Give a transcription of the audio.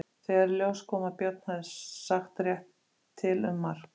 Þegar í ljós kom að Björn hafði sagt rétt til um mark